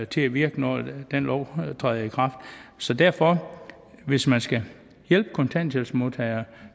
til at virke når den lov træder i kraft så derfor hvis man skal hjælpe kontanthjælpsmodtagere